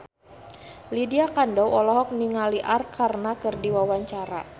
Lydia Kandou olohok ningali Arkarna keur diwawancara